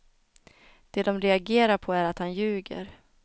Det de reagerar på är att han ljuger.